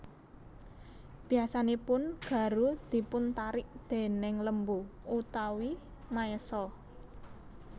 Biasanipun garu dipun tarik déning lembu utawi maésa